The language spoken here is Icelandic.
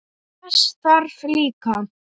Þess þarf líka.